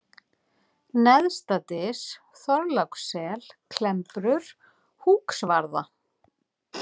Neðstadys, Þorlákssel, Klembrur, Húksvarða